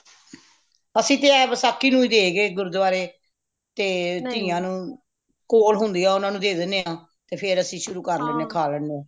ਅਸੀਂ ਤੇ ਏਹ ਵਸਾਖ਼ੀ ਨੂੰ ਹੀ ਦੇਕੇ ਗੁਰਦੁਆਰੇ ਤੇ ਤੀਆਂ ਨੂੰ ਕੋਲ ਹੋਂਦਿਆਂ ਉਨ੍ਹਾਂਨੂੰ ਦੇ ਦੇਣੇ ਹਾਂ ਤੇ ਫੇਰ ਅਸੀਂ ਸ਼ੁਰੂ ਕਰਦੇਂਦੇ ਹਾਂ ਖਾਂ ਲੈਣੇ ਹਾਂ